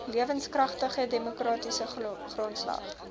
lewenskragtige demokratiese grondslag